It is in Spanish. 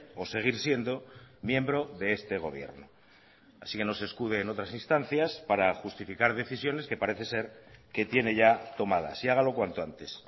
o seguir siendo miembro de este gobierno así que no se escude en otras instancias para justificar decisiones que parece ser que tiene ya tomadas y hágalo cuanto antes